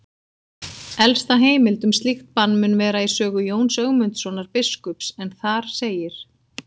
Elsta heimild um slíkt bann mun vera í sögu Jóns Ögmundssonar biskups en þar segir: